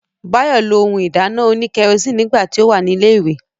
Báyọ̀ lo ohun ìdáná òní kẹrosíìnì nígbà tí ó wà ní ilẹ̀ ìwé